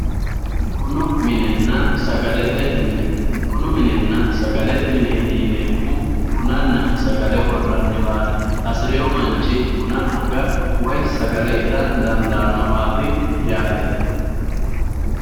bunu minenna sagalete mine bunu minenna sagalete mine yaa bunanna sagale worrayiiwaati hasirewo manchi buna aga woyi sagale ita dandawaati yaate